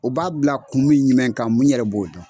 O b'a bila kun min ɲumɛn kan n yɛrɛ b'o dɔn.